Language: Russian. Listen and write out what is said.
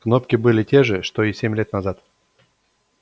кнопки были те же что и семь лет назад